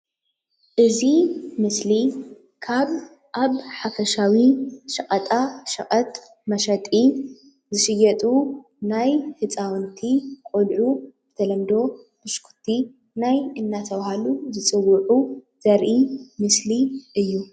እዚ ምስሊ ካብ ኣብ ሓፈሻዊ ሽቀጣሸቀጥ መሸጢ ዝሽየጡ ናይ ህጻዉንቲ ቆልዑ ብተለምዶ ብሽኩቲ ናይ እናተባሃሉ ዝጽዉዑ ዘርኢ ምስሊ እዩ።